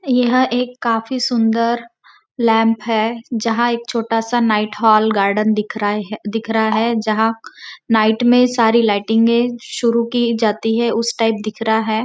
यह एक काफ़ी सुन्दर लैंप है जहाँ एक छोटा सा नाईट होल गार्डन दिख रहे दिख रहा है जहाँ नाईट में सारी लाइटिंगे शुरू की जाती है उस टाइप दिख रहा है।